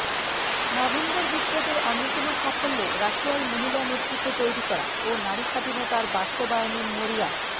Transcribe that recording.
November বিপ্লবের অন্যতম সাফল্য রাশিয়ায় মহিলা নেতৃত্ব তৈরি করা ও নারীস্বাধীনতার বাস্তবায়নের মরিয়া